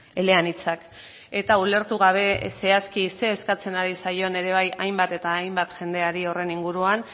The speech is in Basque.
eleanitzak eta ulertu gabe zehazki ze eskatzen ari zaion ere bai hainbat eta hainbat jendeari horren inguruan